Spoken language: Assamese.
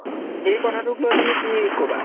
সেই কথাটোক লৈ তুমি কি কবা?